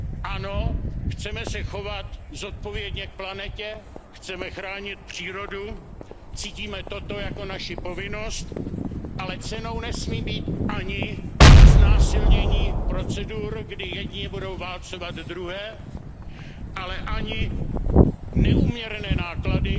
Ano, chceme se chovat zodpovědně k planetě, chceme chránit přírodu, cítíme toto jako naši povinnost, ale cenou nesmí být ani znásilnění procedur, kdy jedni budou válcovat druhé, ale ani neúměrné náklady,